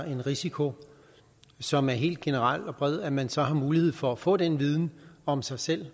en risiko som er helt generel og bred at man så har mulighed for at få den viden om sig selv